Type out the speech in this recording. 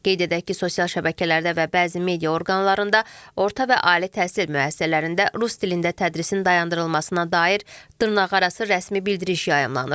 Qeyd edək ki, sosial şəbəkələrdə və bəzi media orqanlarında orta və ali təhsil müəssisələrində rus dilində tədrisin dayandırılmasına dair dırnaqarası rəsmi bildiriş yayımlanır.